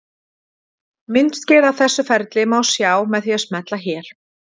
myndskeið af þessu ferli má sjá með því að smella hér